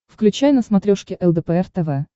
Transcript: включай на смотрешке лдпр тв